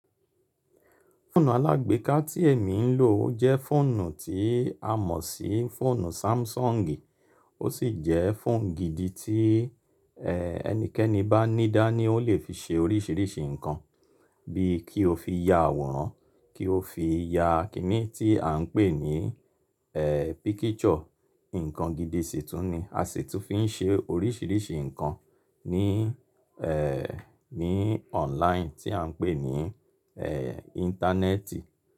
Fóònù alágbèéká tí èmi ń lò jẹ́ fóònù tí a mọ̀ sí fóònù Samsung. Ó sì jẹ́ phone gidi tí ẹnikẹ́ni bá nídáa ní ó lè fi ṣe oríṣiríṣi ǹkan bí i kí o fi ya àwòrán, kí o fi ya kìíní tí à ń pè ní e picture. Ǹkan gidi sì tún ni, a sì tún fi ń ṣe oríṣiríṣi ǹkan ní, ẹ́, ní online tí à ń pè ní, ẹ́, Íńtánẹ́ẹ̀tì.